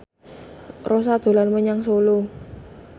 Rossa dolan menyang Solo